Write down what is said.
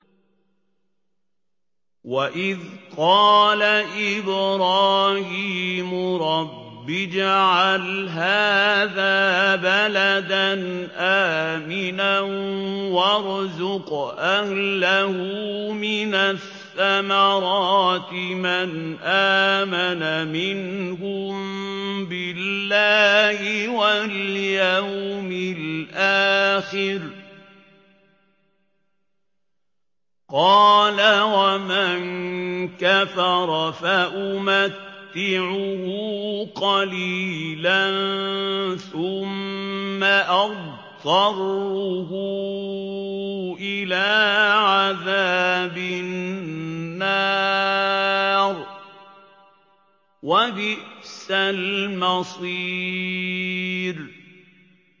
وَإِذْ قَالَ إِبْرَاهِيمُ رَبِّ اجْعَلْ هَٰذَا بَلَدًا آمِنًا وَارْزُقْ أَهْلَهُ مِنَ الثَّمَرَاتِ مَنْ آمَنَ مِنْهُم بِاللَّهِ وَالْيَوْمِ الْآخِرِ ۖ قَالَ وَمَن كَفَرَ فَأُمَتِّعُهُ قَلِيلًا ثُمَّ أَضْطَرُّهُ إِلَىٰ عَذَابِ النَّارِ ۖ وَبِئْسَ الْمَصِيرُ